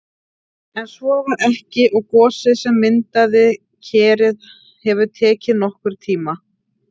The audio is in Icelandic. En svo var ekki og gosið sem myndaði Kerið hefur tekið nokkurn tíma.